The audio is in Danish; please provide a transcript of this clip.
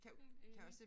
Helt enig